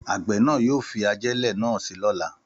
Àgbẹ̀ náà yóò fi ajẹ́lẹ̀ náà si lóla